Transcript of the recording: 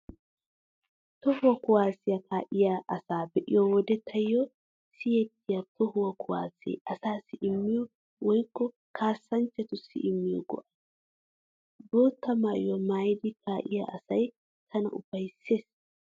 Toho kuwaasiyaa kaa'iyaa asaa be'iyo wode taayyo siyettiyay toho kuwaasee asaassi immiyo woykko kaassanchchatussi immiyo go'ay. Bootta maayuwaa maayidi kaa'iyaa asay tana ufayssees.